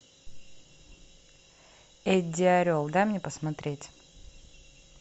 эдди орел дай мне посмотреть